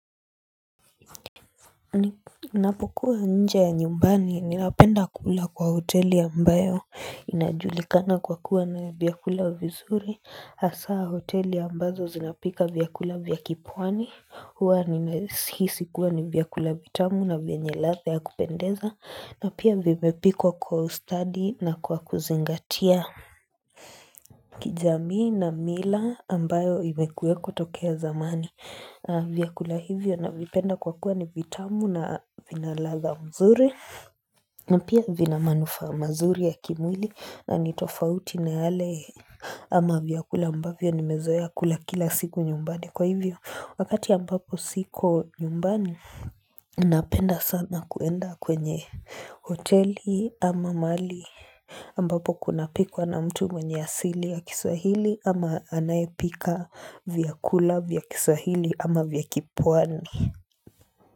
Ninapokuwa nje ya nyumbani ninapenda kula kwa hoteli ambayo inajulikana kwa kuwa na vyakula vizuri hasa hoteli ambazo zinapika vyakula vya kipwani huwa nimesihisi kuwa ni vyakula vitamu na vyenye ladha ya kupendeza na pia vimepikwa kwa ustadi na kwa kuzingatia kijamii na mila ambayo imekuweko tokea zamani vyakula hivyo na vipenda kwa kuwa ni vitamu na vinaladha mzuri na pia vina manufaa mazuri ya kimwili na nitofauti na yale ama vyakula ambavyo nimezoea kula kila siku nyumbani Kwa hivyo wakati ambapo siko nyumbani Napenda sana kuenda kwenye hoteli ama mahali ambapo kuna pikwa na mtu mwenye asili ya kiswahili ama anayepika vyakula vya kiswahili ama vya kipwani.